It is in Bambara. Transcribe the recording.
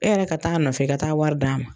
E yɛrɛ ka taa nɔfɛ ka taa wari d'a ma